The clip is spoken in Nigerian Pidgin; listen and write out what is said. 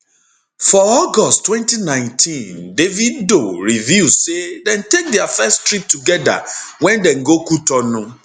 for august 2019 davido reveal say dem take dia first trip togeda wen dem go cotonou